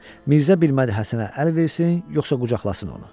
Mirzə bilmədi Həsənə əl versin, yoxsa qucaqlasın onu.